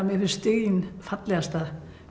mér finnst stiginn fallegasta